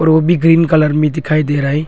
वो भी green colour में दिखाई दे रहा है।